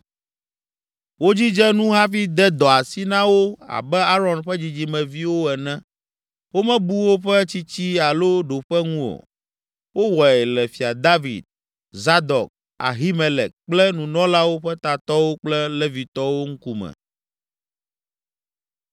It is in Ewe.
Wodzidze nu hafi de dɔ asi na wo abe Aron ƒe dzidzimeviwo ene; womebu woƒe tsitsi alo ɖoƒe ŋu o. Wowɔe le Fia David, Zadok, Ahimelek kple nunɔlawo ƒe tatɔwo kple Levitɔwo ŋkume.